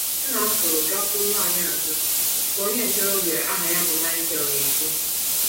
Nna m pụrụ gakwuru nwanyị ọzọ, ka onye ntorobịa aha ya bụ Michael na - ekwu.